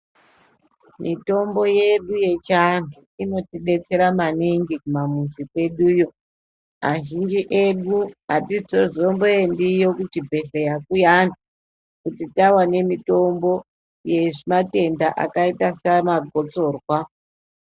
Mitombo yedu ye chi antu inoti betsera maningi ku mamuzi kweduyo azhinji edu atito zombo endiyo kuzvi bhedhleya kuyani kuti tava ne mitombo yema tenda akaita sana gostorwa.